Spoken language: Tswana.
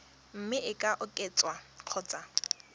mme e ka oketswa kgotsa